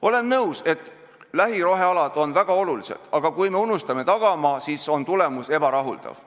Olen nõus, et lähirohealad on väga olulised, aga kui me unustame tagamaa, siis on tulemus ebarahuldav.